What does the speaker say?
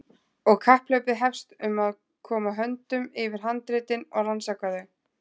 Og kapphlaupið hefst um að koma höndum yfir handritin og rannsaka þau.